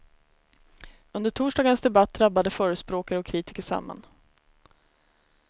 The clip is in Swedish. Under torsdagens debatt drabbade förespråkare och kritiker samman.